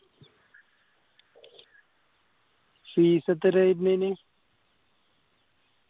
fees എത്രയാ വരുന്നേ അതിന്